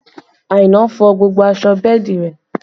Aina fọ gbogbo aṣọ bẹ́ẹ̀dì rẹ